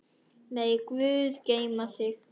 Megi Guð geyma þig.